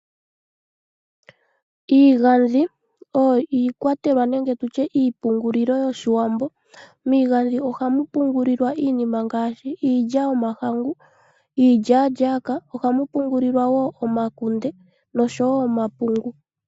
Iigandhi oyo iikwatelwa nenge iipungulilo yOshiwambo . Miigandhi ohamu pungulilwa iinima ngaashi iilya yomahangu, iilyaalyaaka , omakunde noshowoo omapungu.